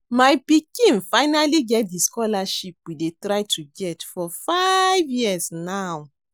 My pikin finally get the scholarship we dey try to get for five years now